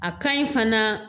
A ka ɲi fana